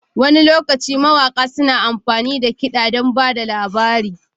Wani lokaci mawaƙa suna amfani da kiɗa don ba da labari.